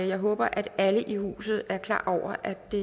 jeg håber at alle i huset er klar over at det